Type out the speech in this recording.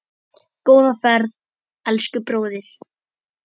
Góða ferð, elsku bróðir.